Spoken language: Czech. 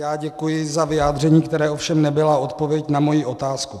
Já děkuji za vyjádření, které ovšem nebylo odpovědí na moji otázku.